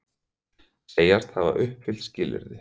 Segjast hafa uppfyllt skilyrði